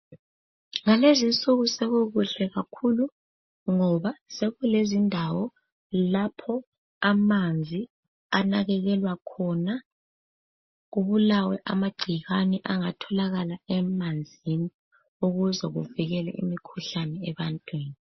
Ngalezinsuku sekukuhle kakhulu ngoba sekulezindawo lapho amanzi anakekelwa khona kubulawe amagcikwane angatholakala emanzini ukuze kuvikelwe imikhuhlane ebantwini.